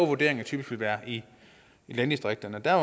vurderinger typisk vil være i landdistrikterne der